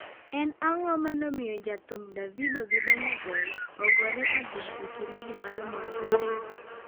En ang'o mane omiyo jothum Davido gi Burnaboy ogore adhong' e kilabu mar mor Ghana?